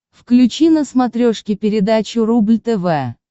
включи на смотрешке передачу рубль тв